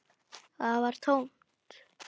Það var tómt.